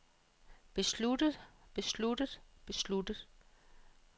besluttet besluttet besluttet